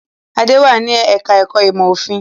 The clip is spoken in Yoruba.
Adé wà ní ẹ̀ka-ẹ̀kọ́ ìmọ̀-òfin.